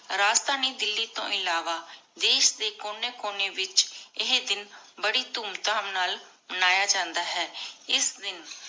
ਰਾਜਧਾਨੀ ਦਿੱਲੀ ਤੋ ਇਲਾਵਾ ਦੇਸ਼ ਦੇ ਕੋਨੀ ਕੋਨੀ ਵਿਚ ਏਹੀ ਦਿਨ ਬਾਰੀ ਧੂਮ ਧਾਮ ਨਾਲ ਮਾਨ੍ਯ ਜਾਂਦਾ ਹੈ ਇਸ ਦਿਨ